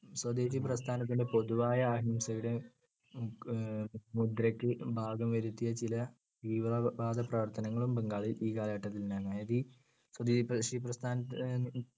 സ്വദേശി പ്രസ്ഥാനത്തിന്‍ടെ പൊതുവായ അഹിംസയുടെ മു~ മുദ്രക്ക് ഭംഗം വരുത്തിയ ചില തീവ്രവാദപ്രവർത്തനങ്ങളും ബംഗാളിൽ ഈ കാലഘട്ടത്തുണ്ടായിരുന്നു. സ്വദേശി പ്രസ്ഥാ അഹ്